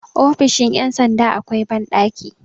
ofisn ' yamsanda akwai banɗaki